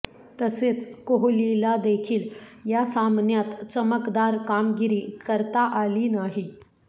तसेच कोहलीला देखील या सामन्यात चमकदार कामगिरी करता आली नाही